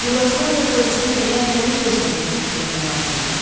Yuqaslaviya polisinə elə həmin versiyanı təklif etmək lazımdır.